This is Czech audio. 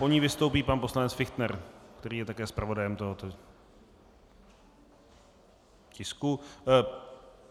Po ní vystoupí pan poslanec Fichtner, který je také zpravodajem tohoto tisku.